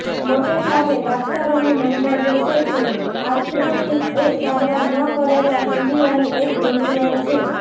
મોટેભાગે દાક્તરોનું મંતવ્ય છે કે આર્થ્રોસિસ એ સારવાર ન કરેલા સંધિવાની એક ગૂંચવણ છે